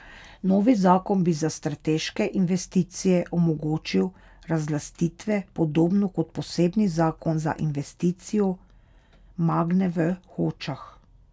Novi zakon bi za strateške investicije omogočil razlastitve, podobno kot posebni zakon za investicijo Magne v Hočah.